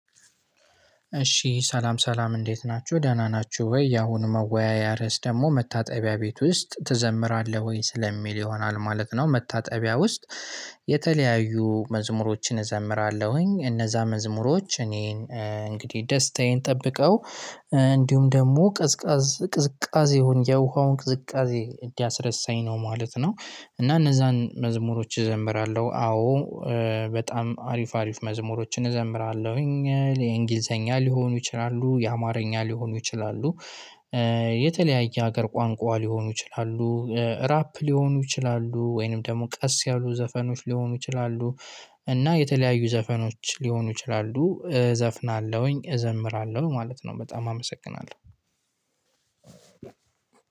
እሺ ሰላም ሰላም እንዴት ናችሁ ደህና ናችሁ ወይ ያሁኑ መወያያ ርዕስ ደግሞ መታጠቢያ ቤት ውስጥ ትዘምራለህ ወይ? ስለሚል ይሆናል ማለት ነው መታጠቢያ ውስጥ። የተለያዩ መዝሙሮችን እዘምራለሁኝ እነዛ መዝሙሮች እኔን እንግዲህ ደስታዬን ጠብቀው። እንዲሁም ደግሞ ቅዝቃዝ ቅዝቃዜ ሆኜ የውሃውን ቅዝቃዜ እንዲያስረሳኝ ነው ማለት ነው። እና እነዛን መዝሙሮች እዘምራለሁ አዎ። በጣም አሪፍ አሪፍ መዝሙሮችን እዘምራለሁኝ የእንግሊዘኛ ሊሆኑ ይችላሉ የአማርኛ ሊሆኑ ይችላሉ። የተለያየ ሀገር ቋንቋ ሊሆኑ ይችላሉ። ራፕ ሊሆኑ ይችላሉ ወይንም ደግሞ ቀስ ያሉ ዘፈኖች ሊሆኑ ይችላሉ። እና የተለያዩ ዘፈኖች ሊሆኑ ይችላሉ እዘፍናለሁኝ እዘምራለሁ ማለት ነው። በጣም አመሰግናለሁ።